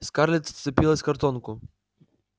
скарлетт вцепилась в картонку